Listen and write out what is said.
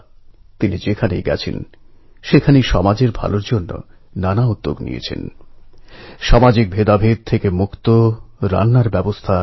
অ্যাপের ফিচার কিসানদের মধ্যে ফ্যাক্ট রেট একদিক থেকে তাঁদের উৎপাদিত সামগ্রী বিক্রির জন্য বাজারের কাজ করছে